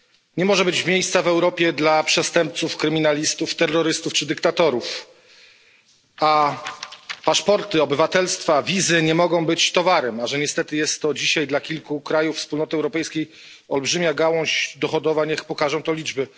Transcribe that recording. Nie może być miejsca w Europie dla przestępców, kryminalistów, terrorystów czy dyktatorów, a paszporty, obywatelstwa, wizy nie mogą być towarem. A że niestety jest to dzisiaj dla kilku krajów Unii Europejskiej olbrzymia gałąź dochodowa, najlepiej pokazują liczby.